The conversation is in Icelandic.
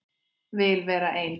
Vil vera ein.